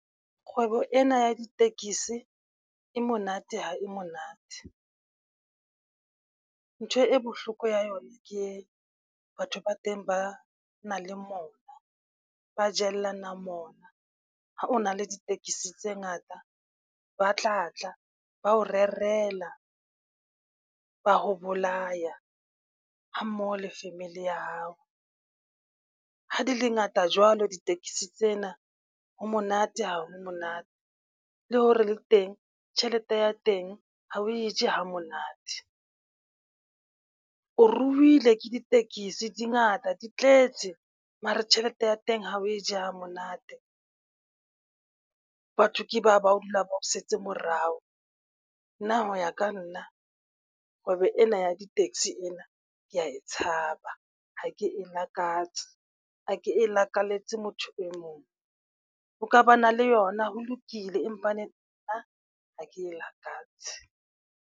Kgwebo ena ya ditekesi e monate ha e monate. Ntho e bohloko ya yona ke batho ba teng ba nang le mona, ba jellana mona. Ha o na le ditekesi tse ngata, ba tla tla ba o rerela, ba o bolaya hammoho le family ya hao. Ha di le ngata jwalo ditekesi tsena ha monate ha ho monate le hore le teng tjhelete ya teng ha o e je hamonate. O ruile ke ditekesi di ngata di tletse mare tjhelete ya teng ha o e je hamonate. Batho ke ba ba dula ba o setse morao nna. Ho ya ka nna kgwebo ena ya di-taxi ena ke ya e tshaba, ha ke e lakatse. Ha ke e lakalletse motho e mong, o ka ba na le yona ho lokile, empa nna ha ke lakatse